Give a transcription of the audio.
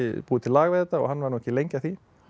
búið til lag við þetta og hann var ekki lengi að því